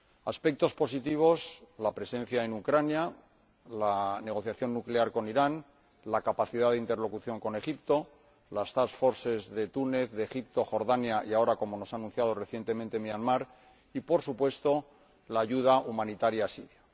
Aspectos positivos la presencia en Ucrania, la negociación nuclear con Irán, la capacidad de interlocución con Egipto, las task forces de Túnez, Egipto, Jordania y, ahora, como se nos ha anunciado recientemente, Myanmar y, por supuesto, la ayuda humanitaria a Siria.